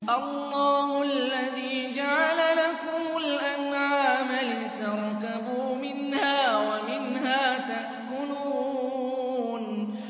اللَّهُ الَّذِي جَعَلَ لَكُمُ الْأَنْعَامَ لِتَرْكَبُوا مِنْهَا وَمِنْهَا تَأْكُلُونَ